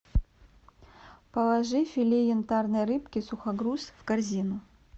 положи филе янтарной рыбки сухогруз в корзину